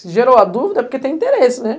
Se gerou a dúvida é porque tem interesse, né?